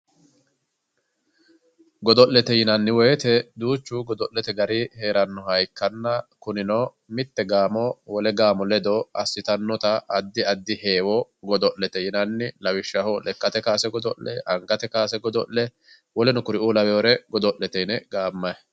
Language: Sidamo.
Godo'lete yinnanni woyte duuchu godo'lete danni heeranoha ikkanna kunino mitte gaamo wole gaamo ledo assittanotta addi addi heewo godo'lete yinnanni lawishshaho lekkate kowaase godo'le angate kowaase godo'le woleno kuriu lawinore godo'lete yinne gaamani.